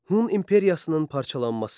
Hun İmperiyasının parçalanması.